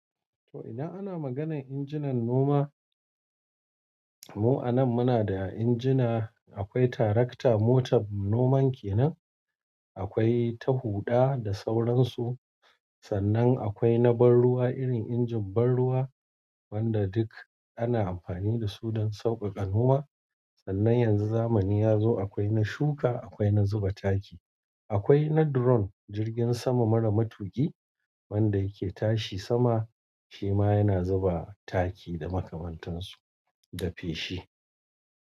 To idan ana maganar injinan noma, mu a nan muna da injina, akwai tarakta motar noman kenan, akwai ta huɗa da sauransu. Sannan akwai na ban ruwa irin injin ban ruwa wanda duk ana amfani da su don sauƙaƙa noma. Sannan yanzu zamani ya zo akwai na shuka, akwai na zuba taki, akwai na drone jirgin sama mara matuƙi wanda yake tashi sama shi ma yana zuba taki da makamantansu da feshi.